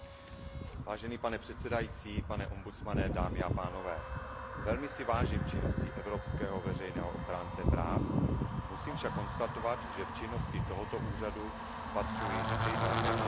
Vážený pane předsedající, pane ombudsmane, dámy a pánové, velmi si vážím činnosti evropského veřejného ochránce práv, musím však konstatovat, že v činnosti tohoto úřadu spatřuji tři velké problémy.